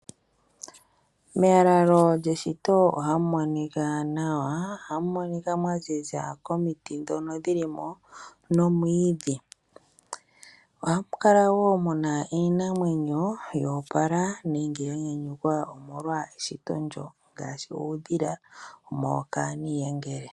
Melaalo lyeshito oha mu monika nawa. Oha mu monika mwa ziza komiiti dhono dhili mo nomwiidhi. Oha mu kala wo muna iinamwenyo yo opala nenge yanyanyukwa omolwa eshito ndyo ngaashi uudhila mokani iyengele.